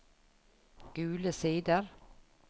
Gule Sider